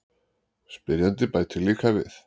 Spyrjandi bætir líka við: